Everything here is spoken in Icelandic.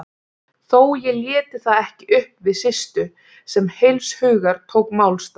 Þó ég léti það ekki uppi við Systu, sem heilshugar tók málstað